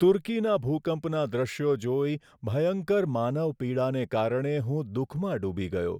તુર્કીના ભૂકંપના દ્રશ્યો જોઈ, ભયંકર માનવ પીડાને કારણે હું દુઃખમાં ડૂબી ગયો.